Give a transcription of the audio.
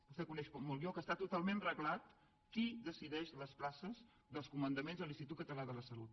vostè coneix com jo que està totalment reglat qui decideix les places dels comandaments de l’institut català de la salut